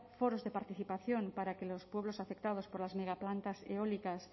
foros de participación para que los pueblos afectados por las megaplantas eólicas